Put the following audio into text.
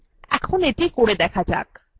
এখন এটি করে দেখা যাক